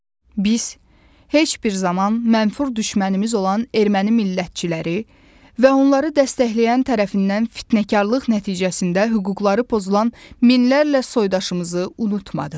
Biz heç bir zaman mənfur düşmənimiz olan erməni millətçiləri və onları dəstəkləyən tərəfindən fitnəkarlıq nəticəsində hüquqları pozulan minlərlə soydaşımızı unutmadıq.